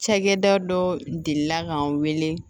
Cakɛda dɔ delila k'an wele